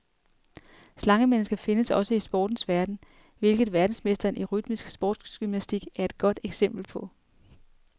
Slangemennesker findes også i sportens verden, hvilket verdensmesteren i rytmisk sportsgymnastik er et godt eksempel på.